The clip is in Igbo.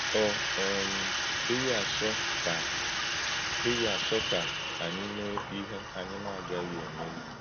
Ọ̀ um dị̀ghị̀ àchọ́ ka dị̀ghị̀ àchọ́ ka ànyí mé íhè ànyí na-agaghị eméli.